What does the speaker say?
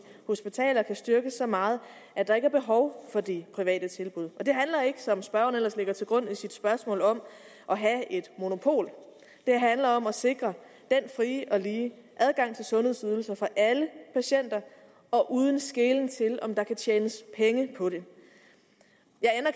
hospitaler kan styrkes så meget at der ikke er behov for de private tilbud det handler ikke som spørgeren ellers lægger til grund i sit spørgsmål om at have et monopol det handler om at sikre den frie og lige adgang til sundhedsydelser for alle patienter og uden skelen til om der kan tjenes penge på det